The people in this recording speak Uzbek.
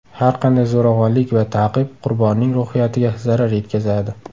Har qanday zo‘ravonlik va ta’qib qurbonning ruhiyatiga zarar yetkazadi.